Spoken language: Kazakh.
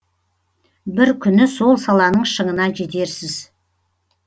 бір күні сол саланың шыңына жетерсіз